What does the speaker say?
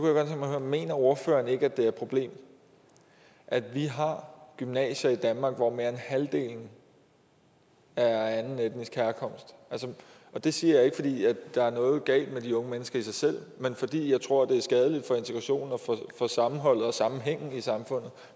at høre mener ordføreren ikke at det er et problem at vi har gymnasier i danmark hvor mere end halvdelen er af anden etnisk herkomst det siger jeg ikke fordi der er noget galt med de unge mennesker i sig selv men fordi jeg tror det er skadeligt for integrationen og for sammenholdet og sammenhængen i samfundet